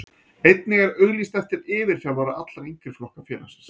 Einnig er auglýst eftir yfirþjálfara allra yngri flokka félagsins.